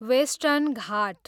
western Ghat